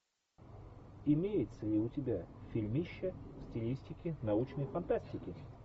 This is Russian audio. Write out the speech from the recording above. имеется ли у тебя фильмище в стилистике научной фантастики